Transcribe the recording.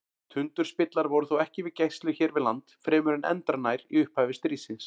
Tundurspillar voru þó ekki við gæslu hér við land fremur en endranær í upphafi stríðsins.